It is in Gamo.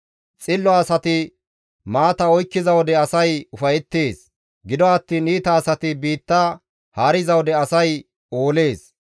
Xillo asati maata oykkiza wode asay ufayettees; gido attiin iita asati biitta haariza wode asay oolees.